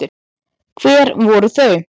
Hver voru þau?